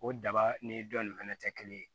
O daba ni dɔ nin fɛnɛ tɛ kelen ye